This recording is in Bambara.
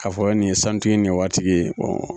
K'a fɔ nin ye sanutigi ye nin ye waritigi ye